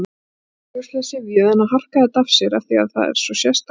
Augljóslega syfjuð en að harka þetta af sér af því að það er svo sérstakt.